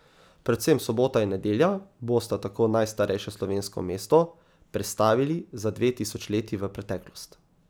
Predvsem sobota in nedelja bosta tako najstarejše slovensko mesto prestavili za dve tisočletji v preteklost.